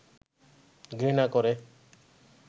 ঘৃণা করে